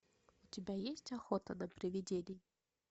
у тебя есть охота на привидений